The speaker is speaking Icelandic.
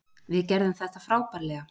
Við gerðum þetta frábærlega.